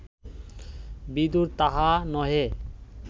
বিদুর তাহা নহে